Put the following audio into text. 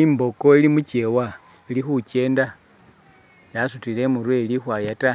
I'mboko ili mu kyewa ili khukenda yasutile i'murwe ili khukhwaya ta